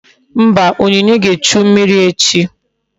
Mba, onyinye ga-echu mmiri echi